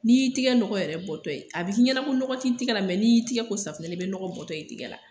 N'i y'i tɛgɛ n yɛrɛ bɔtɔ ye a bɛ k'i ɲɛna ko nɔgɔ tɛ i tɛgɛ la n'i y'i tɛgɛ ko safunɛ na i bɛ nɔgɔ bɔtɔ ye i tɛgɛ la